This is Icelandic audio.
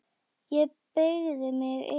Ég beygi mig yfir hana.